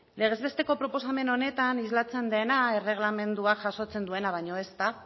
legez besteko proposamen honetan islatzen dena erregelamenduak jasotzen duena baino ez da